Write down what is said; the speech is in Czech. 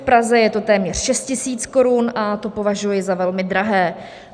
V Praze je to téměř 6 tisíc korun a to považuji za velmi drahé.